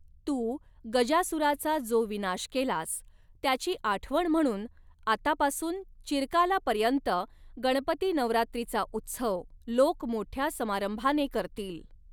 तू गजासुराचा जो विनाश केलास, त्याची आठवण म्हणून आतापासून, चिरकालापर्यंत गणपती नवरात्रीचा उत्सव, लोक मोठ्या समारंभाने करतील.